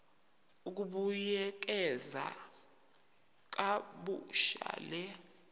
ukubuyekeza kabusha le